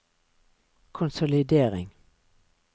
konsolidering